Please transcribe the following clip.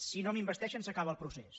si no m’investeixen s’acaba el procés